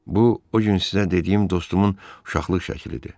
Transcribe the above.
Bu o gün sizə dediyim dostumun uşaqlıq şəklidir.